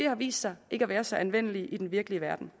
har vist sig ikke at være så anvendelige i den virkelig verden